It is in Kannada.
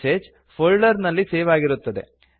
ಮೆಸೇಜ್ ಫೋಲ್ಡರ್ ನಲ್ಲಿ ಸೇವ್ ಆಗಿರುತ್ತದೆ